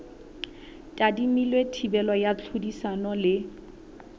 tadimilwe thibelo ya tlhodisano le